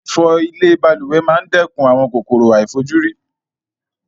Fífo ilè balùwè ma n dékun àwon kòkòrò àìfojúrí